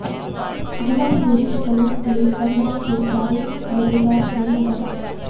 ਅਘੋਲਾਂ ਦੀ ਕੋਸ਼ਿਸ਼ ਕਰੋ ਗਲੇਕਰਲਸ ਦੇ ਸਾਰੇ ਮਜ਼ੇਦਾਰ ਨਹੀਂ ਹੋ ਸਕਦੇ